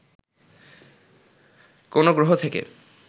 কোন গ্রহ থেকে